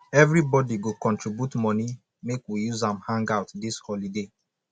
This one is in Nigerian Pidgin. everybodi go contribute moni make we use am hangout dis holiday